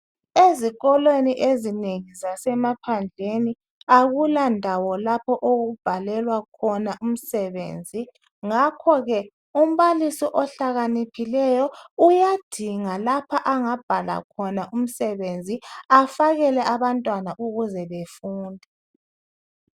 Ezikolweni ezinengi zasemaphandleni akulandawo lapho okubhalelwa khona umsebenzi ngakhoke umbalisi ohlakaniphileyo uyadinga lapha angabhala khona umsebenzi afakele abantwana ukuze befunde